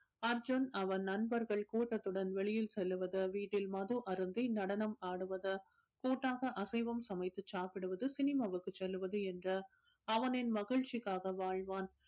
அர்ஜுன் அவன் நண்பர்கள் கூட்டத்துடன் வெளியில் செல்வது வீட்டில் மது அருந்தி நடனம் ஆடுவது கூட்டாக அசைவம் சமைத்து சாப்பிடுவது cinema வுக்கு செல்வது என்று அவனின் மகிழ்ச்சிக்காக வாழ்வான்